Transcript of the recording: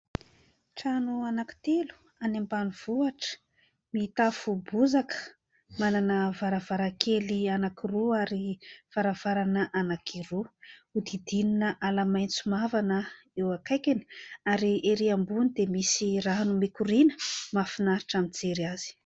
Trano anankitelo any ambanivohitra : mitafo bozaka, manana varavarakely anankiroa ary varavarana anankiroa. Hodidinina ala maitso mavana eo akaikiny ary ery ambony dia misy rano mikoriana, mahafinaritra mijery azy.